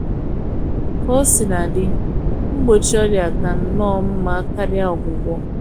Ka o sina dị, mgbọchi ọrịa ka nnọọ mma karia ọgwụgwọ